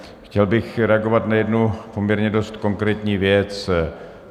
Chtěl bych reagovat na jednu poměrně dost konkrétní věc.